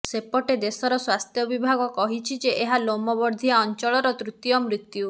ସେପଟେ ଦେଶର ସ୍ୱାସ୍ଥ୍ୟ ବିଭାଗ କହିଛି ଯେ ଏହା ଲୋମବର୍ଦ୍ଦିଆ ଅଞ୍ଚଳର ତୃତୀୟ ମୃତ୍ୟୁ